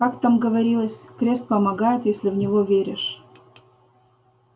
как там говорилось крест помогает если в него веришь